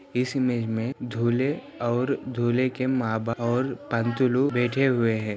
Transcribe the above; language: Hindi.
इस इमेज मे दूल्हे और दूल्हे के माँ-बा आंटी लोग बैठे हुए है|